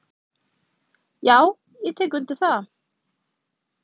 """Já, ég tek undir það."""